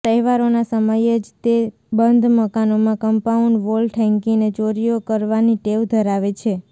તહેવારોના સમયે જ તે બંધ મકાનોમાં કમ્પાઉન્ડ વોલ ઠેંકીને ચોરીઓ કરવાની ટેવ ધરાવે છે